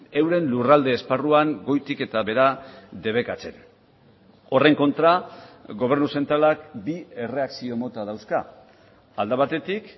euren lurralde esparruan goitik eta behera debekatzen horren kontra gobernu zentralak bi erreakzio mota dauzka alde batetik